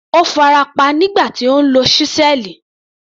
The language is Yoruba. Ó farapa nígbà tí ó ń lo ṣísẹ́ẹ̀lì.